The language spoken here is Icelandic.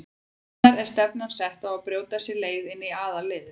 Hvenær er stefnan sett á að brjóta sér leið inn í aðalliðið?